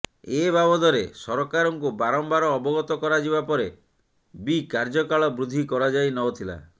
ଏ ବାବଦରେ ସରକାରଙ୍କୁ ବାରମ୍ୱାର ଅବଗତ କରାଯିବା ପରେ ବି କାର୍ଯ୍ୟକାଳ ବୃଦ୍ଧି କରାଯାଇନଥିଲା